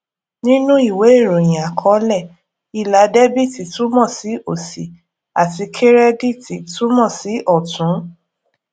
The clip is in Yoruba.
nínú ìwé ìròyìn àkọlé ilà debiti túmọ sí òsì àti kirediti túmọ sí ọtún